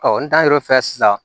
Ɔ n tar'o fɛ sisan